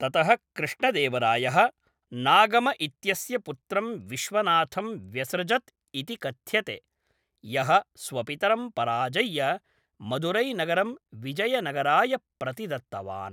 ततः कृष्णदेवरायः नागम इत्यस्य पुत्रं विश्वनाथं व्यसृजत् इति कथ्यते, यः स्वपितरं पराजय्य मदुरैनगरं विजयनगराय प्रतिदत्तवान्।